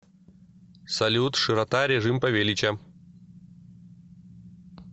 салют широта режим павелича